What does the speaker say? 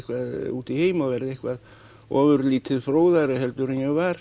út í heim og verða eitthvað ofurlítið fróðari heldur en ég var